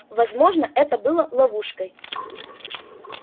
возможно это было ловушкой